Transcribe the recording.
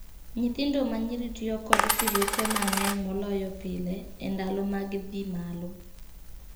Nyithindo ma nyiri tiyo kod sirueche mang'eny moloyo pile e ndalo mag dhii malo.